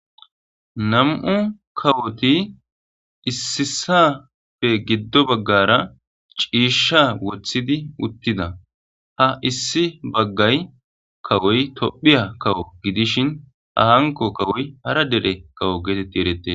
nam7u kawoti issi issapfe giddo baggara ciisha wothidi uttida ha issi bagga kawoy tophiya kawo gidishin hanko kawoy hara dere kawo geetetti eretees